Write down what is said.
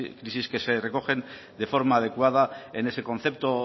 crisis que se recogen de forma adecuada en ese concepto